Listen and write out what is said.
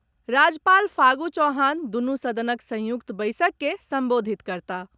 राज्यपाल फागू चौहान दुनू सदनक संयुक्त बैसक के संबोधित करताह।